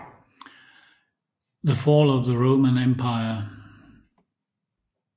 The Fall of the Roman Empire